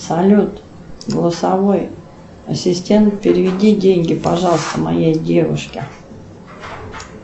салют голосовой ассистент переведи деньги пожалуйста моей девушке